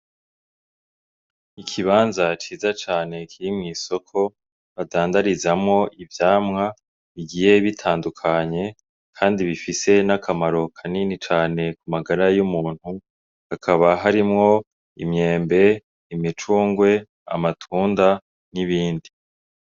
Ikibanza ciza cane kiri mwi soko badandarizamwo ivyamwa bigiye bitandukanye kandi bifise n'akamaro kanini cane ku magara y'umuntu, hakaba harimwo imyembe, imicungwe, amatunda n'ibindi.